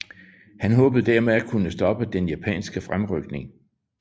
Han håbede dermed at kunne stoppe den japanske fremrykning